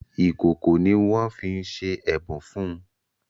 Ìkòkò ní wón fí ṣe ẹbùn fún.